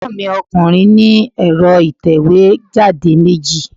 Ègbọ́n mi ọkùnrin ní ẹ̀rọ ìtẹ̀wé jáde meji